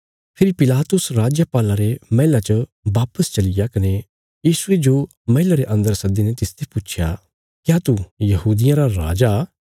फेरी पिलातुस राजपाल्ला रे मैहला च वापस चलिग्या कने यीशुये जो मैहला रे अन्दर सद्दीने तिसते पुच्छया क्या तू यहूदियां रा राजा